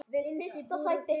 Dæmi: Hekla